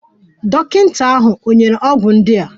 Dọkịta ahụ ò nyere ọgwụ ndị a?